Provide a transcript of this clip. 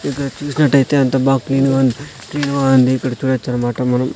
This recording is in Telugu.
ఇక్కడ చూసినట్టయితే అంతా బాగా క్లీన్ గా ఉంది క్లీన్ గా ఉంది ఇక్కడ చూడొచ్చు అన్నమాట మనము.